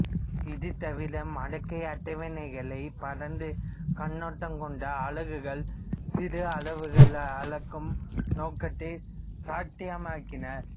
இதுதவிர மடக்கை அட்டவணைகள் பரந்த கண்ணோடம் கொண்ட அலகுகளை சிறு அளவுகளை அளக்கும் நோக்கத்தைச் சாத்தியமாக்கின